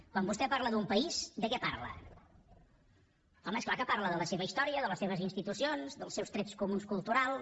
quan vostè parla d’un país de què parla home és clar que parla de la seva història de les seves institucions dels seus trets comuns culturals